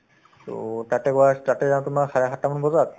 to তাতে গৈ আ তাতে যাওঁ তোমাৰ চাৰে সাতটামান বজাত